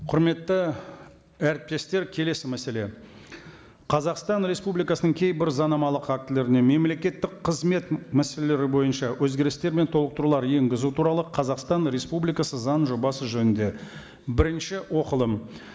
құрметті әріптестер келесі мәселе қазақстан республикасының кейбір заңнамалық актілеріне мемлекеттік қызмет мәселелері бойынша өзгерістер мен толықтырулар енгізу туралы қазақстан республикасы заңының жобасы жөнінде бірінші оқылым